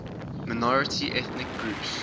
minority ethnic groups